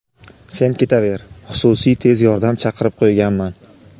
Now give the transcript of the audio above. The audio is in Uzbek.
"Sen ketaver, xususiy tez yordam chaqirib qo‘yganman.".